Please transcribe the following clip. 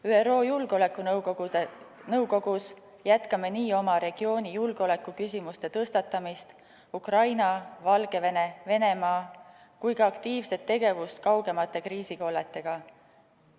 ÜRO Julgeolekunõukogus jätkame nii oma regiooni julgeolekuküsimuste tõstatamist – Ukraina, Valgevene ja Venemaa – kui ka aktiivset tegevust kaugemate kriisikolletega.